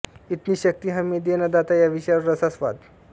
इतनी शक्ती हमें दे ना दाता या विषयावर रसास्वाद